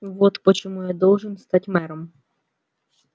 вот почему я должен стать мэром